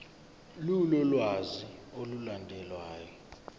lolu lwazi olulandelayo